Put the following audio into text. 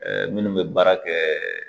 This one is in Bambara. minnu bɛ baara kɛ